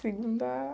Segunda